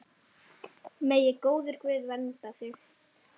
Megi góður Guð vernda þig.